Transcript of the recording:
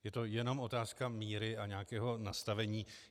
Je to jenom otázka míry a nějakého nastavení.